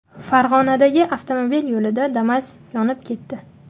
Farg‘onadagi avtomobil yo‘lida Damas yonib ketdi .